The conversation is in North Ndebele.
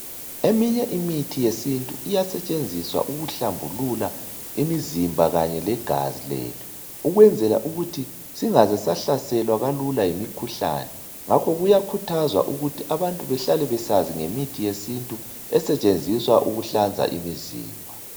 Eminye imizimba imithi yesintu iyasetshenziswa ukuhlambulula imizimba kanye legazi lethu ukwenzela ukuthi singazesa hlaselwa lula yimikhuhlane ngakho kuyakhuthazwa ukuthi abantu behlale besazi ngemithi yesintu esetshenziswa ukuhlanza imizimba.